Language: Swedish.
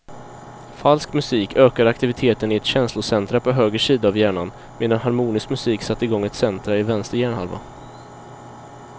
Falsk musik ökade aktiviteten i ett känslocentra på höger sida av hjärnan medan harmonisk musik satte igång ett centra i vänster hjärnhalva.